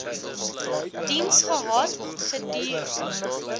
diens gehad gedurend